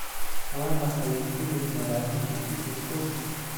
waa maxay filim malaa'igtu ku jirto?